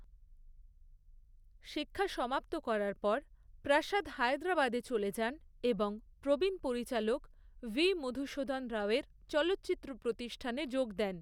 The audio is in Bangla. শিক্ষা সমাপ্ত করার পর, প্রসাদ হায়দ্রাবাদে চলে যান এবং প্রবীণ পরিচালক ভি. মধুসূধন রাওয়ের চলচ্চিত্র প্রতিষ্ঠানে যোগ দেন।